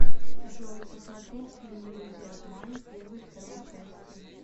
джой посмотреть фильм иллюзия обмана первой второй части